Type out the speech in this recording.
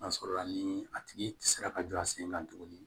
N'a sɔrɔ la ni a tigi sera ka jɔ a sen kan tuguni